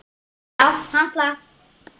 Já, hann slapp.